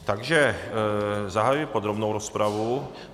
Takže zahajuji podrobnou rozpravu.